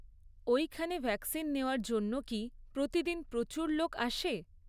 ওইখানে ভ্যাকসিন নেওয়ার জন্য কি প্রতিদিন প্রচুর লোক আসে?